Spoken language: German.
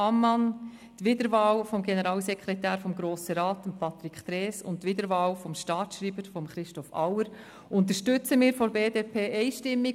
Die Wiederwahl des Generalsekretärs des Grossen Rats, Patrick Trees, und die Wiederwahl des Staatsschreibers, Christoph Auer, unterstützen wir seitens der BDP einstimmig.